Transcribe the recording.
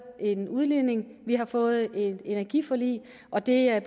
en udligning vi har fået et energiforlig og der